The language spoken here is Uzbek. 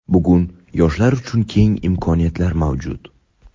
Bugun yoshlar uchun keng imkoniyatlar mavjud.